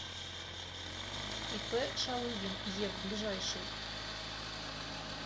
ип шалыгин ев ближайший